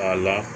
A la